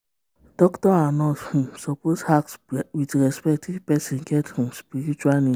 doctor and nurse um suppose ask with respect if person get um spiritual need.